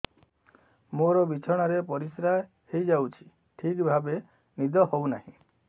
ମୋର ବିଛଣାରେ ପରିସ୍ରା ହେଇଯାଉଛି ଠିକ ଭାବେ ନିଦ ହଉ ନାହିଁ